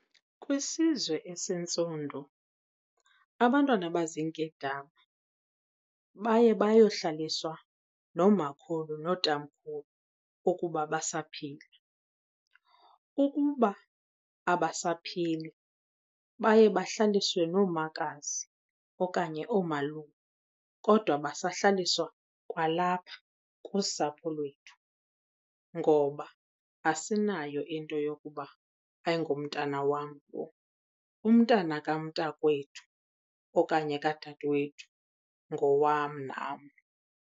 Kwisizwe esintsundu abantwana abaziinkedama baye bayohlaliswa noomakhulu nootamkhulu ukuba basaphila. Ukuba abasaphili baye bahlaliswe noomakazi okanye oomalume, kodwa basahlaliswa kwalapha kusapho lwethu ngoba asinayo into yokuba ayingomntana wam lo. Umntana kamntakwethu okanye kadadewethu ngowam nam.